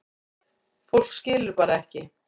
Fólk skilur bara ekki